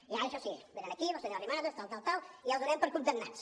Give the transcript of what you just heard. i ara això sí venen aquí la senyora arrimadas tal tal tal i els donem per condemnats